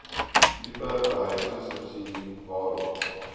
tipe behuisingsubsidie waarom